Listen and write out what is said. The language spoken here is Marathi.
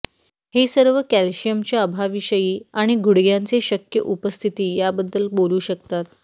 हे सर्व कॅल्शियमच्या अभावाविषयी आणि मुडद्यांचे शक्य उपस्थिती याबद्दल बोलू शकतात